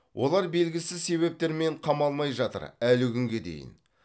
олар белгісіз себептермен қамалмай жатыр әлі күнге дейін